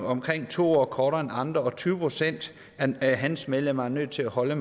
omkring to år kortere end andre og tyve procent af hans medlemer er nødt til at holde